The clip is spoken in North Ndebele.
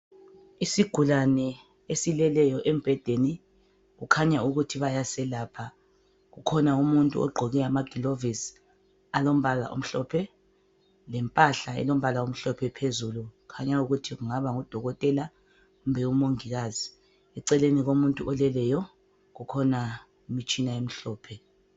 Isigulane esileleyo embhedeni kukhanya ukuthi bayasiyelapha. Kukhona umuntu ogqoke amagilovisi alombala omhlophe lempahla elombala omhlophe phezulu kukhanya ukuthi kungaba ngodokoteka kumbe umongikazi. Eceleni komuntu oleleyo kukhona umtshina omhlophe.